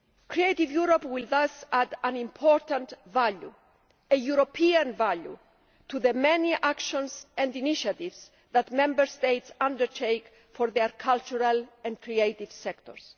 Creative Europe will thus add an important value, a European value, to the many actions and initiatives that Member States undertake for their cultural and creative sectors.